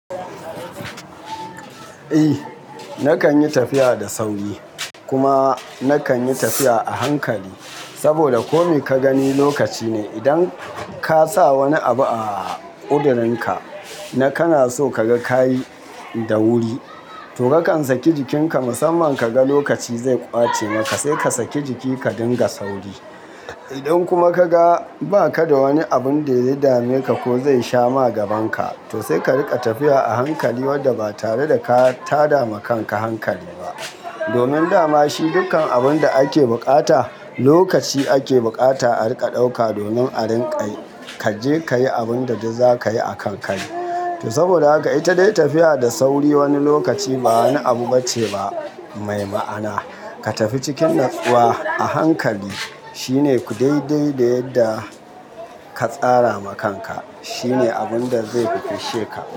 Eh nakan yi tafiya da sauri kuma nakan yi tafiya a hankali. Saboda kome ka gani lokaci ne. Idan ka sa wani abu a kudurinka, na kana so ka ga kayi da wuri, to kakan saki jikinka musamman ka ga lokaci zai ƙwace maka, sai ka saki jiki ka dinga sauri. Idan kuma ka ga ba ka da wani abun da ya dameka ko zai sha ma gabanka, to sai ka riƙa tafiya a hankali wadda ba tare da ka tada ma kanka hankali ba. Domin dama shi dukkan abun da ake buƙata, lokaci ake buƙata a riƙa ɗauka domin a rinƙa yi. Ka je ka yi abun da duk za ka yi a kan kari. To saboda haka, ita dai tafiya da sauri wani lokaci ba wani abu bace ba mai ma'ana. Ka tafi cikin natsuwa a hankali, shine ku dai dai da yadda ka tsara ma kanka. Shi ne abun da zai fishshe ka.